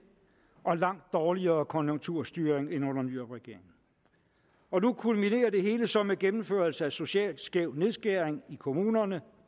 og langt dårligere konjunkturstyring end under nyrupregeringen og nu kulminerer det hele så med gennemførelse af socialt skæv nedskæring i kommunerne